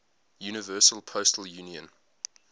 universal postal union